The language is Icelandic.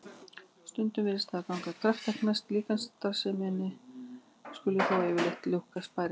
Stundum virðist það ganga kraftaverki næst að líkamsstarfsemin skuli þó yfirleitt lukkast bærilega.